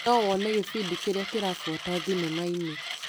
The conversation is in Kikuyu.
No wone gĩbindi kĩrĩa kĩrabuata thinema-inĩ .